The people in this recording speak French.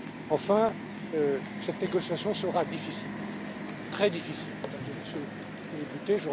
fragile. Enfin, cette négociation sera difficile, très difficile, Mesdames et Messieurs les